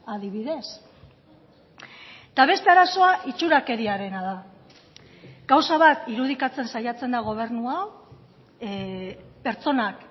adibidez eta beste arazoa itxurakeriarena da gauza bat irudikatzen saiatzen da gobernu hau pertsonak